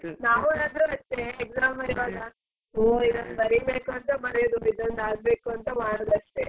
ನಾವ್ ಆದರು ಅಷ್ಟೇ exam ಬರಿಯುವಾಗ ಅಯ್ಯೋ ಇದೊಂದು ಬರೀಬೇಕು ಅಂತ ಬರಿಯೋದು ಇದೊಂದ್ ಆಗ್ಬೇಕು ಅಂತ ಮಾಡುದಷ್ಟೇ.